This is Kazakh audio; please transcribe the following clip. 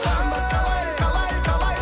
қарындас қалай қалай қалай